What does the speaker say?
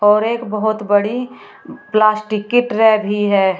और एक बहोत बड़ी प्लास्टिक की ट्रे भी है।